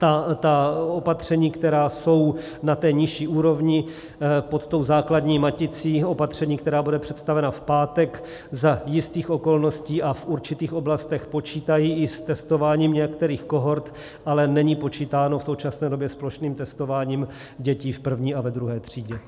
Ta opatření, která jsou na té nižší úrovni pod tou základní maticí opatření, která bude představena v pátek, za jistých okolností a v určitých oblastech počítají i s testováním některých kohort, ale není počítáno v současné době s plošným testováním dětí v první a ve druhé třídě.